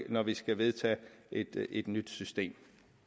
når vi skal vedtage et et nyt system